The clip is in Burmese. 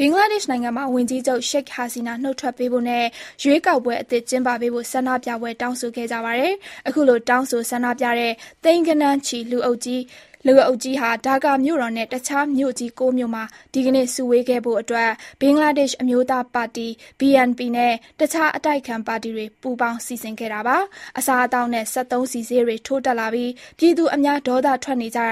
ဘင်္ဂလားဒေ့ရှ်နိုင်ငံမှာ ဝန်ကြီးချုပ် ရှိတ်ဟာစီနာ (Sheikh Hasina) နုတ်ထွက်ပေးဖို့နဲ့ ရွေးကောက်ပွဲ အသစ်ကျင်းပပေးဖို့ ဆန္ဒပြပွဲကြီးဖြစ်ခဲ့ပါတယ်။ အခုလို တောင်းဆိုဆန္ဒပြတဲ့ သိန်းဂဏန်းချီ လူအုပ်ကြီး ဒါကာ (Dhaka) မြို့တော်နဲ့ တခြားမြို့ကြီး ၉ မြို့မှာ ဒီနေ့ စုဝေးခဲ့တာဖြစ်ပြီး ဘင်္ဂလားဒေ့ရှ် အမျိုးသားပါတီ BNP နဲ့ တခြားအတိုက်အခံ ပါတီတွေပူးပေါင်း စီစဉ်ခဲ့တာပါ။ အစားအသောက်နဲ့ စက်သုံးဆီဈေးတွေ ထိုးတက်လာပြီး အများဒေါသထွက်နေချိန်